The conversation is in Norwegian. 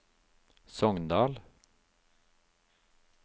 Sogndal